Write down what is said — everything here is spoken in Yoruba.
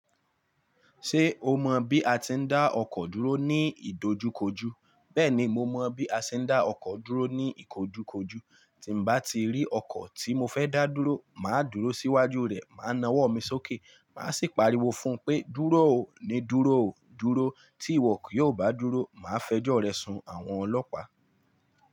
Ṣé o mọ bí a ti ń dá ọkọ̀ dúró ní ìdojúkojú? Bẹ́ẹ̀ni, mo mọ bí a ṣe ń dá ọkọ̀ dúró ní ìkojúkojú. Tí bá ti rí ọkọ̀ tí mo fẹ́ dá dúró, màá dúró síwájú rẹ̀, máa nawọ́ mi sókè, má sì pariwo fún un pé "dúró o, ní dúró o, dúró, tí ìwọ kì yóò bá dúró, màá fẹjọ́ rẹ sun àwọn ọlọ́pàá".